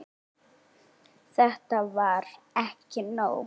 Þetta var ekki nóg.